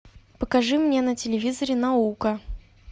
покажи мне на телевизоре наука